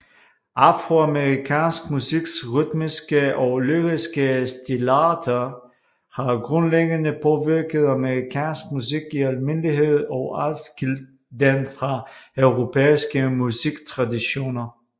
Afroamerikansk musiks rytmiske og lyriske stilarter har grundlæggende påvirket amerikansk musik i almindelighed og adskilt den fra europæiske musiktraditioner